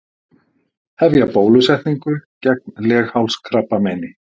Hefja bólusetningu gegn leghálskrabbameini